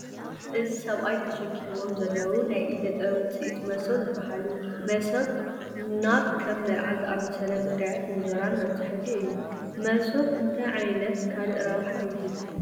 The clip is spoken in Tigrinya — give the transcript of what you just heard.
እዚ ሰብኣይ ተሸኪምዎም ዘለዉ ናይ እደ ጥበብ ውፅኢት መሶብ ይበሃሉ፡፡ መሶብ ናብ ከም መርዓ ዝኣምሰለ ጉዳያት እንጀራ ነብፅሐሉ እዩ፡፡ መሶብ እታይ ዓይነት ካልእ ረብሓ ይህብ?